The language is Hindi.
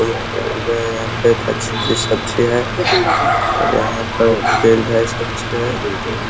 यहाँ पे एक अच्छी-अच्छी सब्जी है और यहाँ पे फील्ड अच्छी है।